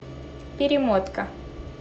перемотка